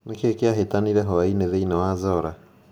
Nĩ kĩĩ kĩahĩtanire hwaĩinĩ thĩinĩ wa zora